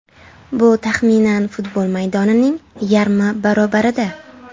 Bu taxminan futbol maydonining yarmi barobarida.